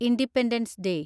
independence day